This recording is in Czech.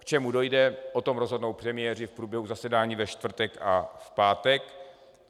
K čemu dojde, o tom rozhodnou premiéři v průběhu zasedání ve čtvrtek a v pátek.